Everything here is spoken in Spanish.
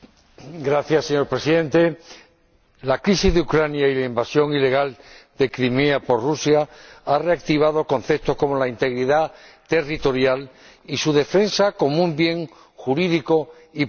Señor Presidente, la crisis de Ucrania y la invasión ilegal de Crimea por Rusia han reactivado conceptos como la integridad territorial y su defensa como un bien jurídico y político.